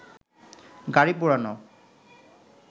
গাড়ি পোড়ানো